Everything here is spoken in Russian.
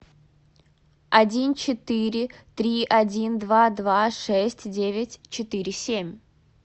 один четыре три один два два шесть девять четыре семь